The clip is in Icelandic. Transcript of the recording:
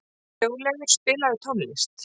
Þjóðleifur, spilaðu tónlist.